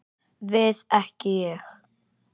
Við ekki Ég.